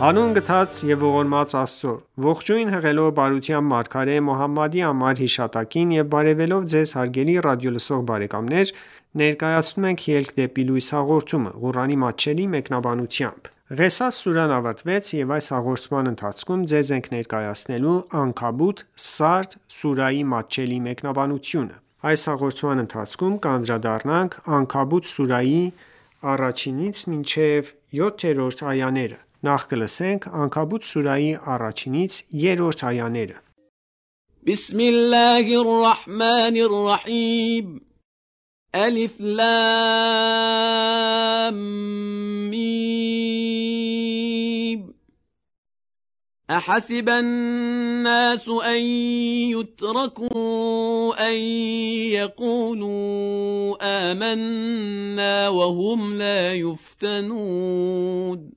Հանուն գթած և ողորմած Աստծո:Ողջույն հղելով բարության մարգարե Մոհամմադի անմար հիշատակին եւ բարեւելով Ձեզ հարգելի ռադիոլսող բարեկամներ ներկայացնում ենք «Ելք դեպի լույս» հաղորդումը, Ղուրանի մատչելի մեկնաբանությամբ: Ղեսաս սուրահն ավարտվեց և այս հաղորդման ընթացքում ձեզ ենք ներկայացնելու Անքաբութ (Սարդ) սուրահի մատչելի մեկնաբանությունը: Անքաբութ սուրահի 1-3-րդ այաներ بِسْمِ اللَّهِ الرَّحْمَٰنِ الرَّحِیمِ أَحَسِبَ النَّاسُ أَنْ یُتْرَکُوا أَنْ یَقُولُوا آمَنَّا وَهُمْ لَا یُفْتَنُونَ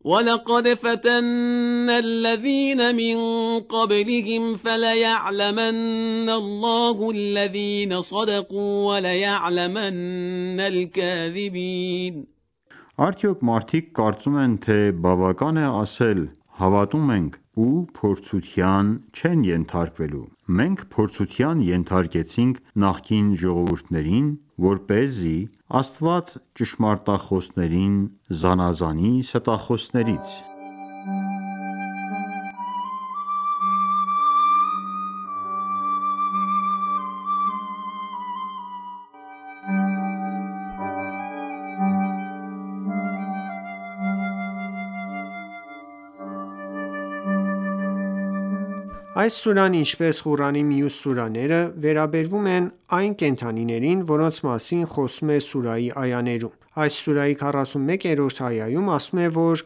Ալեֆ, Լամ, Միմ Արդյոք մարդիկ կարծում են, թե բավական է ասել՝ հավատում ենք, ու փորձության չեն ենթարկվելու: Մենք փորձության ենթարկեցինք նախկին ժողովուրդներին, որպեսզի Աստված ճշմարտախոսներին զանազանի ստախոսներից: Այս սուրահն ինչպես Ղուրանի մյուս սուրահները, վերաբերում է այն կենդանիներին, որոնց մասին խոսվում է սուրահի այաներում: Այս սուրահի 41-րդ այայում ասվում է, որ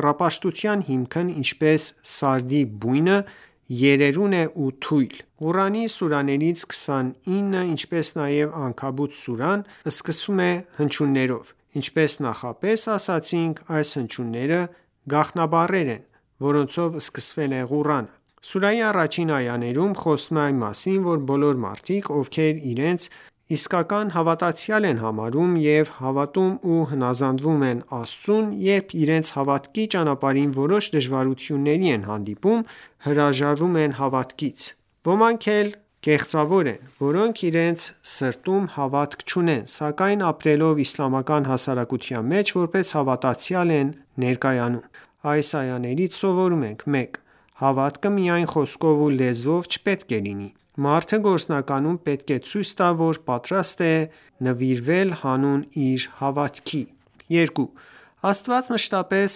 կռապաշտության հիմքն ինչպես սարդի բույնը, երերուն է ու թույլ: Ղուրանի սուրահներից 29-ը ինչպես նաև Անքաբութ սուրահը, սկսվում են հնչյուններով: Ինչպես նախապես ասացինք, այս հնչյունները գաղտնաբառեր են, որոնցով սկսվել է Ղուրանը: Սուրահի առաջին այաներում խոսվում է այն մասին, որ բոլոր մարդիկ, ովքեր իրենց իսկական հավատացյալ են համարում և հավատում ու հնազանդվոմ են Աստծուն, երբ իրենց հավատքի ճանապարհին որոշ դժվարությւնների են հանդիպում, հրաժարվում են հավատքից: Ոմանք էլ կեղծավորներ են, որոնք իրենց սրտում հավատք չունեն, սակայն ապրելով իսլամական հասարակության մեջ, որպես հավատացյալ են ներկայանում։ Այս այաներից սովորում ենք․ 1. Հավատքը միայն խոսքով ու լեզվով չպետք է լինի: Մարդը գործնականում պետք է ցույց տա, որ պատրաստ է նվիրվել հանուն իր հավատքի։ 2. Աստված մշտապես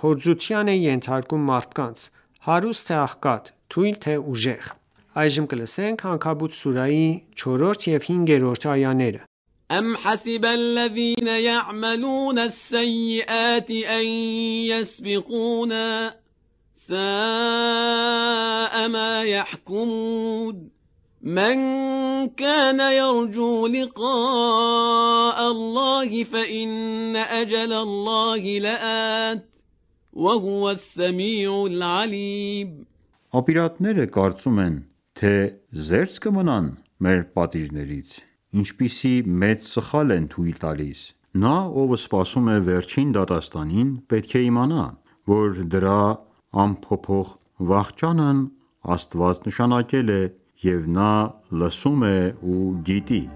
փորձության է ենթարկում մարդկանց, հարուստ թե աղքատ, թույլ թե ուժեղ։ Անքաբութ ուրահի 4 և 5 -րդ այաներ أَمْ حَسِبَ الَّذِینَ یَعْمَلُونَ السَّیِّئَاتِ أَنْ یَسْبِقُونَا ۚ سَاءَ مَا یَحْکُمُونَ مَنْ کَانَ یَرْجُو لِقَاءَ اللَّهِ فَإِنَّ أَجَلَ اللَّهِ لَآتٍ ۚ وَهُوَ السَّمِیعُ الْعَلِیمُ Ապիրատները կարծում են, թե զե՞րծ կմնան մեր պատիժներից: Ինչպիսի մեծ սխալ են թույլ տալիս: Նա, ով սպասում է վերջին դատաստանին, (պետք է իմանա, որ դրա) անփոփոխ վախճանն Աստված նշանակել է, և Նա լսում է ու գիտի: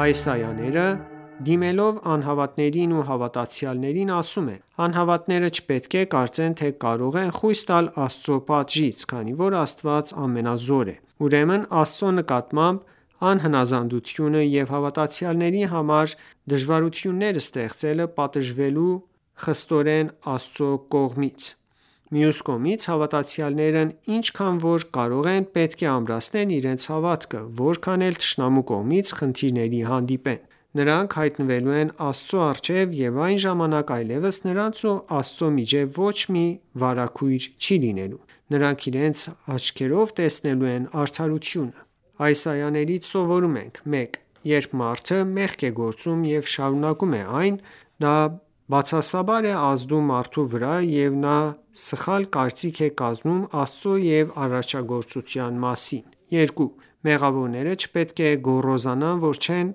Այս այաները, դիմելով անհավատներին ու հավատացյալներին, ասում են. «Անհավատները չպետք է կարծեն, թե կարող են խույս տալ Աստծու պատժից, քանի որ Աստված ամենազոր է: Ուրեմն Աստծու նկատմամբ անհնազանդությունը և հավատացյալների համար դժվարություններ ստեղծելը, պատժվելու է խստորեն Աստծու արդար դատաստանում»: Մյուս կողմից, հավատացյալներն ինչքան որ կարող են, պետք է ամրացնեն իրենց հավատքը, որքան էլ թշնամու կողմից խնդիրների հանդիպեն: Նրանք հայտնվելու են Աստծու առջև և այն ժամանակ այլևս նրանց ու Աստծու միջև ոչ մի վարագույր չի լինելու: Նրանք իրենց աչքերով տեսնելու են արդարությունը։ Այս այաներից սովորում ենք․ 1. Երբ մարդը մեղք է գործում և շարունակում է այն, դա բացասաբար է ազդում մարդու վրա և նա սխալ կարծիք է կազմում Աստծու և արարչագոծության մասին։ 2. Մեղավորները չպետք է գոռոզանան, որ չեն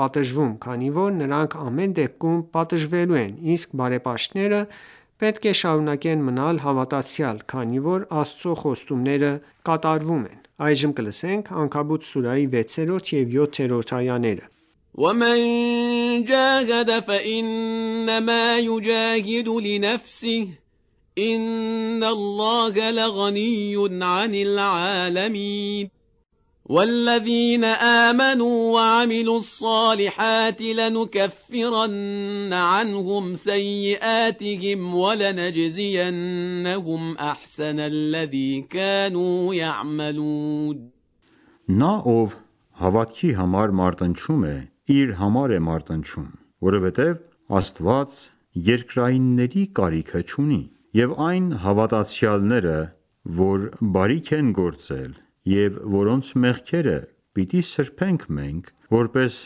պատժվում, քանի որ նրանք ամեն դեպքում պատժվելու են, իսկ բարեպաշտները պետք է շարունակեն մնալ հավատացյալ, քանի որ Աստծու խոստումները կատարվում են։ Անքաբութ սուրահի 6 և 7-րդ այաներ وَمَنْ جَاهَدَ فَإِنَّمَا یُجَاهِدُ لِنَفْسِهِ ۚ إِنَّ اللَّهَ لَغَنِیٌّ عَنِ الْعَالَمِینَ Նա, ով հավատքի համար մարտնչում է, իր համար է մարտնչում, որովհետև Աստված երկրայինների կարիքը չունի: Եվ այն հավատացյալները, որ բարիք են գործել, և որոնց մեղքերը պիտի սրբենք մենք, որպես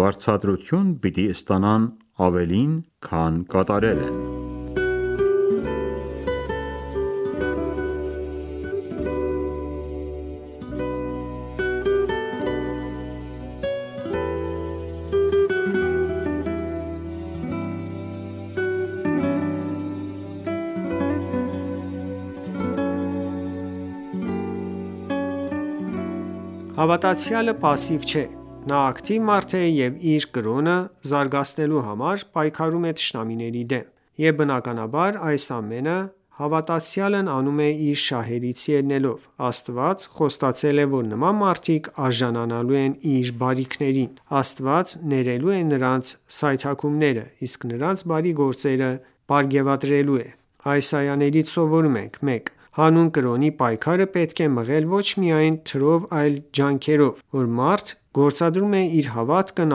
վարձատրություն պիտի ստանան ավելին, քան կատարել են: Հավատացյալը պասիվ չէ: Նա ակտիվ մարդ է և ի իր կրոնը զարգացնելու համար, պայքարում է թշնամիների դեմ: Եվ բնականաբար, այս ամենը հավատացյալն անում է իր շահերից ելնելով: Աստված խոստացել է, որ նման մարդիկ արժանանալու են Իր բարիքներին: Աստված ներելու է նրանց սայթաքումները, իսկ նրանց բարի գործերը պարգևատրելու է։ Այս այաներից սովորում ենք․ 1. Հանուն կրոնի պայքարը պետք է մղել ոչ միայն թրով այլ ջանքերով, որ մարդը գործադրում է իր հավատքն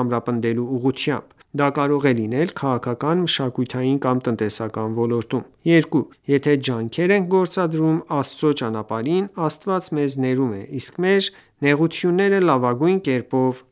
ամրապնդելու ուղղությամբ: Դա կարող է լինել քաղաքական, մշակութային կամ տնտեսական ոլորտում 2. Եթե ջանքեր ենք գործադրում Աստծու ճանապարհին, Աստված մեզ ներում է, իսկ մեր նեղությունները լավագույն կերպով